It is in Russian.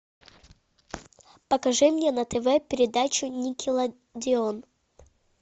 покажи мне на тв передачу никелодеон